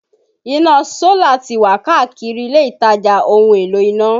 Iná Sólà tí wà káàkiri ilé-ìtajà ohun-èlò iná